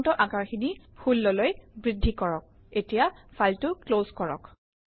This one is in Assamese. ফণ্টৰ আকাৰ 16 লৈ বৃদ্ধি কৰক